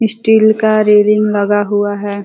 Steel का railing लगा हुआ है।